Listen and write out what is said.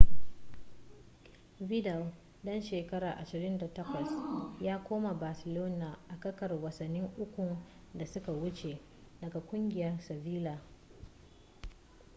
vidal dan shekara 28 ya koma barcelona a kakar wasanni ukun da suka wuce daga kungiyar sevilla